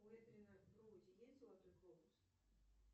у эдриана броуди есть золотой глобус